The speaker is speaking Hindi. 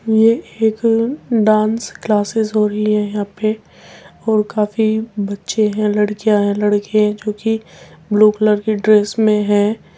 ये एक डांस क्लासेस हो रही है यहां पे और काफी बच्चे हैं लडकियां हैं लड़के हैं जो की ब्लू कलर की ड्रेस में है।